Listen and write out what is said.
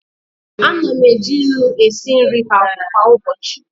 Ana m eji nnu esi nri kwa ụbọchị.